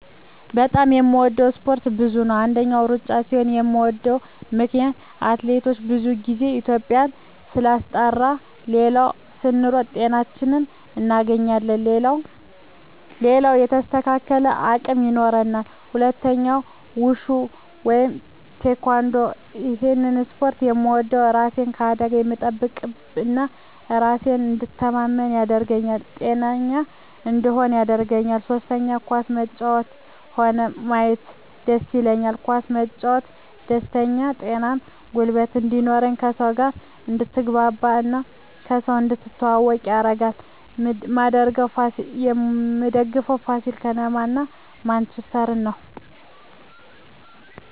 በጣም የምወደው እስፓርት ብዙ ነው አንደኛ እሩጫ ሲሆን ምወደው ምክነያት አትሌቶቻችን ብዙ ግዜ ኢትዩጵያን ስላስጠራት ሌላው ስንሮጥ ጤናችን እናገኛለን ሌላው የተስተካከለ አቅም ይኖራል ሁለተኛው ውሹ ወይም ቲካንዶ እሄን እስፖርት ምወደው እራሴን ከአደጋ ስለምጠብቅ እና በራሴ እንድተማመን ያረገኛል ጤነኛ እንድሆንም ያረገኛል ሶስተኛ ኳስ መጫወት ሆነ ማየት ደስ ይለኛል ኳስ መጫወት ደስተኛ ጤነኛ ጉልበት እንድኖር ከሰው ጋር አድትግባባ እና ከሰው እንድትተዋወቅ ያረጋል ምደግፈው ፋሲል ከነማ እና ማንችስተር ነው